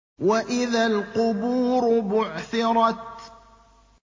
وَإِذَا الْقُبُورُ بُعْثِرَتْ